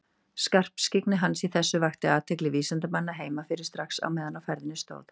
Skarpskyggni hans í þessu vakti athygli vísindamanna heima fyrir strax á meðan á ferðinni stóð.